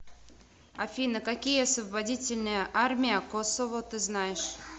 афина какие освободительная армия косово ты знаешь